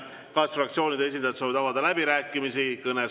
Kas fraktsioonide esindajad soovivad avada läbirääkimisi?